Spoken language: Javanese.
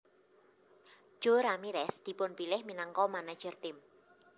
Jo Ramirez dipunpilih minangka manajer tim